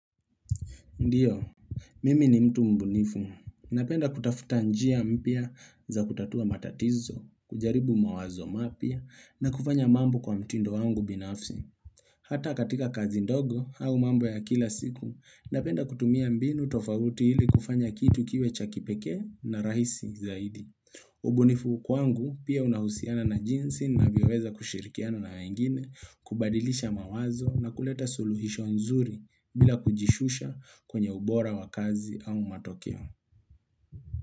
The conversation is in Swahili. Ndiyo, mimi ni mtu mbunifu. Napenda kutafuta njia mpya za kutatua matatizo, kujaribu mawazo mapya na kufanya mambo kwa mtindo wangu binafsi. Hata katika kazi ndogo au mambo ya kila siku, napenda kutumia mbinu tofauti ili kufanya kitu kiwe cha kipekee na rahisi zaidi. Ubunifu kwangu pia unahusiana na jinsi ninavyoweza kushirikiana na wengine, kubadilisha mawazo na kuleta suluhisho nzuri bila kujishusha kwenye ubora wa kazi au matokeo.